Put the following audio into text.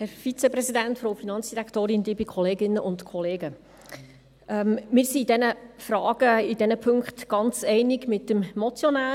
Wir sind in diesen Fragen, in diesen Punkten, ganz einig mit dem Motionär.